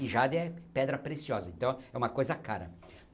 E Jade é pedra preciosa, então é uma coisa cara.